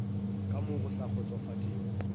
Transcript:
ka mo go sa kgotsofatšego